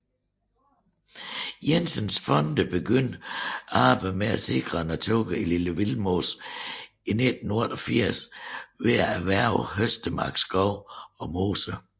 Jensens Fonde begyndte arbejdet med at sikre naturen i Lille Vildmose i 1988 ved at erhverve Høstemark Skov og Mose